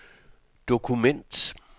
dokument